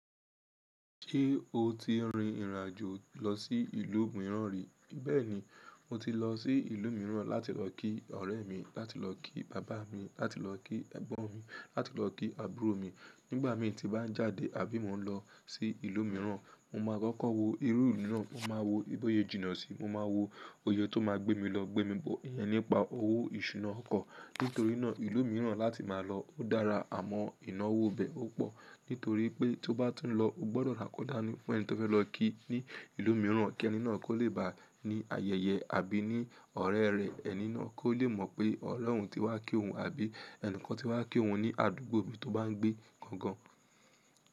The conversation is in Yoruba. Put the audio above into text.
Ṣé o ti rin ìrìn àjò lọ sí ìlú mìíràn rí? Bẹ́ẹ̀ni, mo ti lọ sí ìlú mìíràn láti lọ kí ọ̀rẹ́ mi, láti lọ kí bàbá mi, láti lọ kí ẹ̀gbọ́n mi, láti lọ kí àbúrò mi. Nígbà míì tí bá ń jáde àbí mo ń lọ sí ìlú mìíràn, mo máa kọ́kọ́ wo irú ìlú náà, mo máa wo I to ṣe jìnnà sí i, mo máa wo òye tó máa gbé mi lọ, gbé mi bọ̀, ìyẹn nípa owó ìṣúná ọkọ̀. Nítorí náà ìlú mìíràn láti máa lọ o dára, àmọ́ ìnáwó ibẹ̀ ó pọ̀. Nítorí pé tó bá tún lọ, o gbọ́dọ̀ rà nkọ́ dá ní fún ẹni tó fẹ́ lọ kí ní ìlú mìíràn kí ẹni náà kó lè bá a ní ayẹyẹ àbí ní ọ̀rẹ́ rẹ̀ ẹni náà kó lè mọ̀ pé ọ̀rẹ́ òun ti wá kí òun àbí ẹnìkan ti wá kí òun ní àdúgbò ibi tó bá ń gbé gangan.